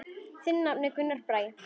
Þinn nafni, Gunnar Bragi.